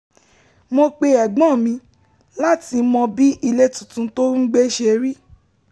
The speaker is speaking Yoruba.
mo pe ẹ̀gbọ́n mi láti mọ bí ilé tuntun tó ń gbé ṣe rí